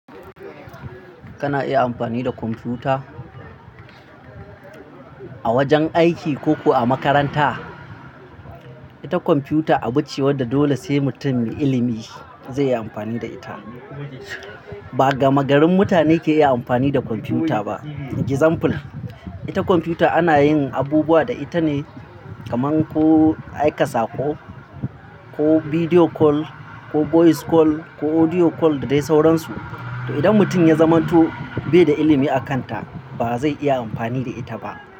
Kana iya amfani da kwamfuta? A wajan aiki ko ko a makaranta? Ita kwamfuta a bacewar da dole sai mutum me ilimi zai iya amfani da ita. Ba gama garin mutane ke iya amfani da kwamfuta ba. Example, ita kwamfuta ana yin abubuwa da ita ne kaman ko aika sako, ko video call, ko voice call, ko audio call da dai sauransu. To idan mutum ya zamanto bai da ilimi a kanta ba zai iya amfani da ita ba.